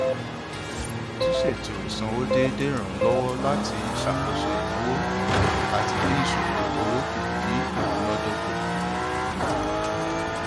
ṣíṣètò ísanwó déédé ràn án lọwọ láti ṣàkóso ináwó àti dín ìṣòro owó kù ní imunádókò